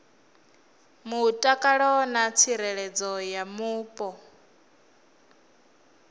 mutakalo na tsireledzo ya mupo